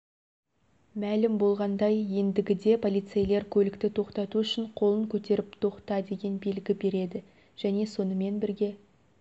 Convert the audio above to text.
мәлім болғандай ендігіде полицейлер көлікті тоқтату үшін қолын көтеріп тоқта деген белгі береді және сонымен бірге